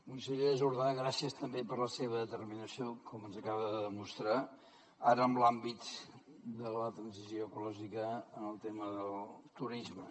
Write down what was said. consellera jordà gràcies també per la seva determinació com ens acaba de demostrar ara en l’àmbit de la transició ecològica en el tema del turisme